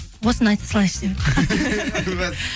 осыны айта салайыншы деп едім